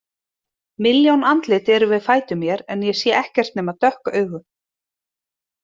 Milljón andlit eru við fætur mér en ég sé ekkert nema dökk augu.